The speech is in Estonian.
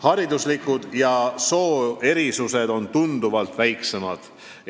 Hariduslikud ja soolised erisused on tunduvalt väiksemad.